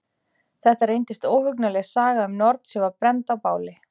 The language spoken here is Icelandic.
Þetta reyndist óhugnanleg saga um norn sem var brennd á báli.